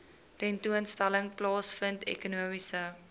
tentoonstelling plaasvind ekonomiese